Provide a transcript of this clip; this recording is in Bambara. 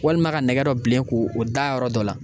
Walima ka nɛgɛ dɔ bilen k'o da a yɔrɔ dɔ la